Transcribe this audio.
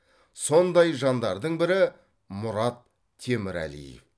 сондай жандардың бірі мұрат темірәлиев